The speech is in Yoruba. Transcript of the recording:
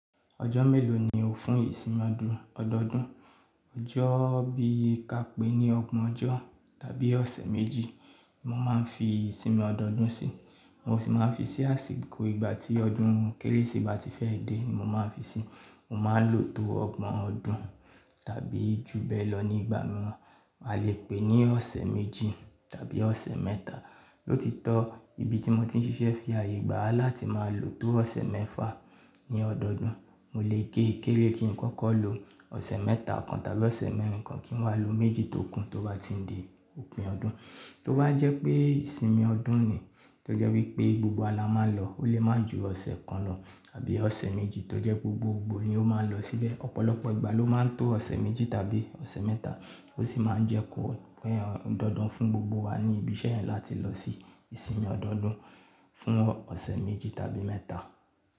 Ọjọ́ mélòó ni o fún ìsinmi ọdún ọdọọdún? Ọjọ́ bí i ka pé ní ọgbọ̀n ọjọ́ tàbí ọ̀sẹ̀ méjì mo máa ń fi ìsinmi ọdọọdún sí. Mo sì máa ń fi sí àsìkò ìgbà tí ọdún kérésì ba ti fẹ́ dé ni mo máa ń fi sí. Mo máa ń lò tó ọgbọ̀n ọdún tàbí jù bẹ́ẹ̀ lọ ní ìgbà mìíràn. A lè pè ní ọ̀sẹ̀ méjì tàbí ọ̀sẹ̀ mẹ́ta. L'ótitọ́ ibi tí mo ti ń ṣiṣẹ́ fi aye gbà láti máa lò tó ọ̀sẹ̀ mẹ́fà ní ọdọọdún. Mo lè gé e kéré kí n kọ́kọ́ lo ọ̀sẹ̀ mẹ́ta kan tàbí ọ̀sẹ̀ mẹ́rin kan kí n wá lo méjì tókú tó bá ti n di òpin ọdún. Tó bá jẹ́ pé ìsinmi ọdún nì, tó jẹ́ wípé gbogbo wa la máa lọ, ó lè máa ju ọ̀sẹ̀ kan lọ tàbí ọ̀sẹ̀ méjì tó jẹ́ gbogboogbo ni ó máa nlọ síbẹ̀. Ọ̀pọ̀lọpọ̀ ìgbà ló máa ń tó ọ̀sẹ̀ méjì tàbí ọ̀sẹ̀ mẹ́ta, ó sì máa ń jẹ́ kó pé dandan fún gbogbo wa ní ibi iṣẹ́ yẹn láti lọ sí ìsinmi ọdọọdún fún ọ̀sẹ̀ méjì tàbí mẹ́ta.